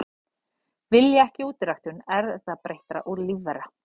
Vilja ekki útiræktun erfðabreyttra lífvera